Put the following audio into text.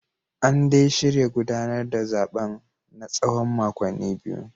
An dai shirya gudanar da zaben na tsawon makonni biyu